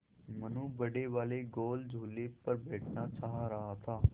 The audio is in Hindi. मनु बड़े वाले गोल झूले पर बैठना चाह रहा था